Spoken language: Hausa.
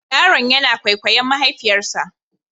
Yaron yana kwaikwayon mahaifiyarsa.